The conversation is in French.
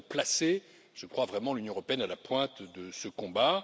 nous avons placé, j'en suis convaincu, l'Union européenne à la pointe de ce combat.